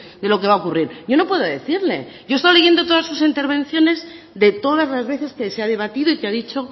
de lo que va a ocurrir yo no puedo decirle yo he estado leyendo todas sus intervenciones de todas las veces que se ha debatido y qué ha dicho